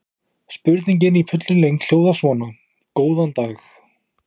Spurningin í fullri lengd hljóðaði svona: Góðan dag.